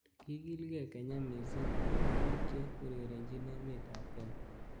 Kikilkei Kenya missing akobo bik che urerenjin emet ab Kenya.